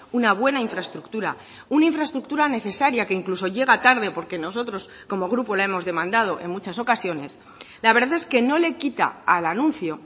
una buena infraestructura una infraestructura necesaria que incluso llega tarde porque nosotros como grupo la hemos demandado en muchas ocasiones la verdad es que no le quita al anuncio